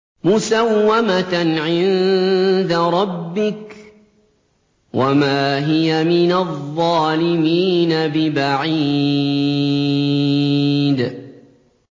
مُّسَوَّمَةً عِندَ رَبِّكَ ۖ وَمَا هِيَ مِنَ الظَّالِمِينَ بِبَعِيدٍ